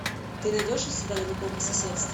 ты найдешь у себя далеко по соседству